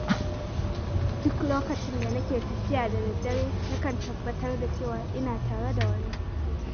Duk lokacin da nake tafiya da dare, nakan tabbatar da cewa ina tare da wani.